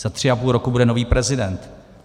Za tři a půl roku bude nový prezident.